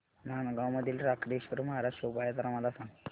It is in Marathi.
नांदगाव मधील रोकडेश्वर महाराज शोभा यात्रा मला सांग